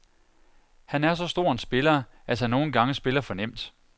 Han er så stor en spiller, at han nogen gange spiller for nemt.